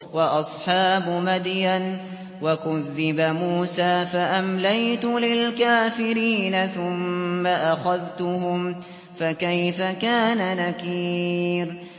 وَأَصْحَابُ مَدْيَنَ ۖ وَكُذِّبَ مُوسَىٰ فَأَمْلَيْتُ لِلْكَافِرِينَ ثُمَّ أَخَذْتُهُمْ ۖ فَكَيْفَ كَانَ نَكِيرِ